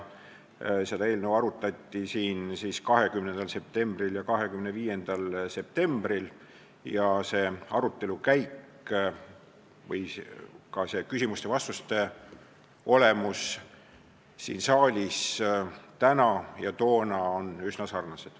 Seda eelnõu arutati siin 20. septembril ja 25. septembril ning see arutelu käik ning ka küsimuste-vastuste olemus sarnanes täna toimunule.